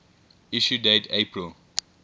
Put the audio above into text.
issue date april